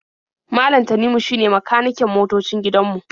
Malam Tanimu shine makaniken motoocin gidan mu.